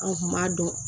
An kun b'a dɔn